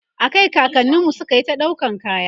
a Kai kakanninmu sukayi ta ɗaukan kaya